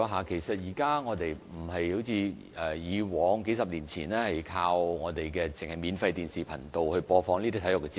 現在已不再像以往數十年前般，只單單依靠免費電視頻道播放體育節目。